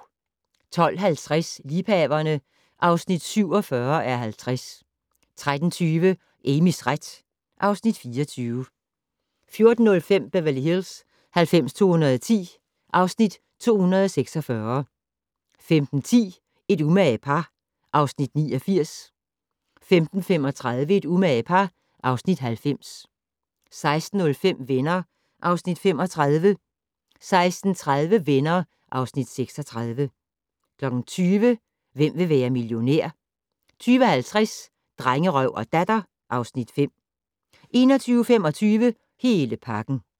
12:50: Liebhaverne (47:50) 13:20: Amys ret (Afs. 24) 14:05: Beverly Hills 90210 (Afs. 246) 15:10: Et umage par (Afs. 89) 15:35: Et umage par (Afs. 90) 16:05: Venner (Afs. 35) 16:30: Venner (Afs. 36) 20:00: Hvem vil være millionær? 20:50: Drengerøv og Datter (Afs. 5) 21:25: Hele pakken